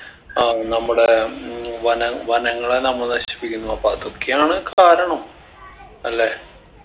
ആ നമ്മുടെ ഉം വന വനങ്ങളെ നമ്മ നശിപ്പിക്കുന്നു അപ്പൊ അതൊക്കെയാണ് കാരണം അല്ലേ